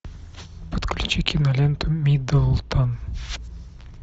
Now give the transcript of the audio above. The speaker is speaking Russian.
подключи киноленту миддлтон